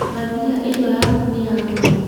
Mbathia ino yaku nĩ ya goro.